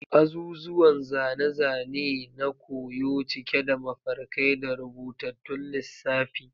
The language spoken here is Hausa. Azuzuwan zane-zane ne na koyo, cike da mafarkai da rubutattun lissafi.